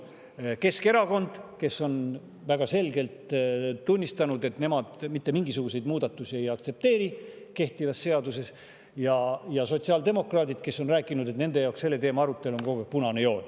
Keskerakond on väga selgelt tunnistanud, et nemad mitte mingisuguseid muudatusi kehtivas seaduses ei aktsepteeri, ja sotsiaaldemokraadid on kogu aeg rääkinud, et nende jaoks on selle teema arutelu punane joon.